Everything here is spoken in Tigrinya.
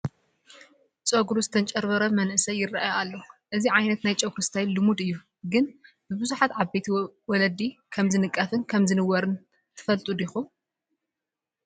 ጩጉሩ ዝተንጨብረረ መንእሰይ ይርአ ኣሎ፡፡ እዚ ዓይነት ናይ ጨጉሪ ስታይል ልሙድ እዩ፡፡ ግን ብብዙሓት ዓበይቲ መለዲ ከምዝንቀፍን ከምዝንወርን ትፈልጡ ዲኹም?